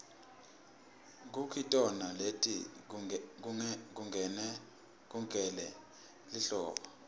kukitona leti lungele lihlobo